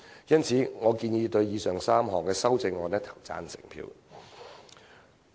因此，我建議對以上3項修正案投贊成票。